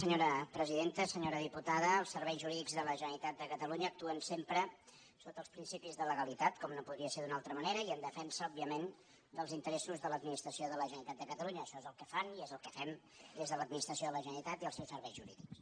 senyora diputada els serveis jurídics de la generalitat de catalunya actuen sempre sota els principis de legalitat com no podia ser d’una altra manera i en defensa òbviament dels interessos de l’administració de la generalitat de catalunya això és el que fan i és el que fem des de l’administració de la generalitat i els seus serveis jurídics